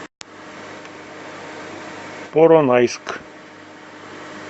поронайск